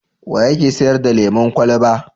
Wa yake sayar da lemon kwalaba?